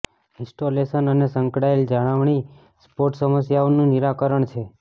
installation અને સંકળાયેલ જાળવણી સપોર્ટ સમસ્યાઓનું નિરાકરણ કરે છે